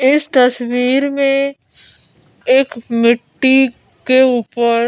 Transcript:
इस तस्वीर में एक मिट्टी के ऊपर--